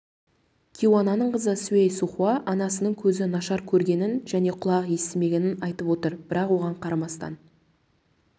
кейуананың қызы сюй сухуа анасының көзі нашар көргенін және құлағы естімегенін айтып отыр бірақ соған қарамастан